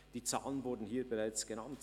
Die Zahlen wurden hier bereits genannt.